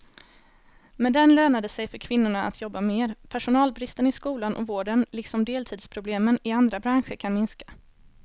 Med den lönar det sig för kvinnorna att jobba mer, personalbristen i skolan och vården liksom deltidsproblemen i andra branscher kan minska.